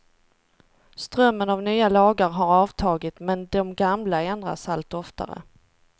Strömmen av nya lagar har avtagit, men de gamla ändras allt oftare.